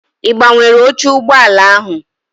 I gbanwere oche ụgbọala ahụ?